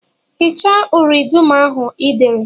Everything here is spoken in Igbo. Hichasịa uri dum ahụ Ị dere!